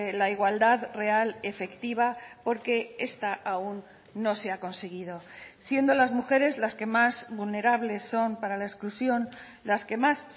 la igualdad real efectiva porque esta aún no se ha conseguido siendo las mujeres las que más vulnerables son para la exclusión las que más